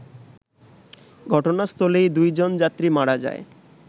ঘটনাস্থলেই দুইজন যাত্রী মারা যায়